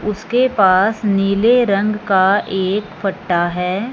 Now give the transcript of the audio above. उसके पास नीले रंग का एक फट्टा है।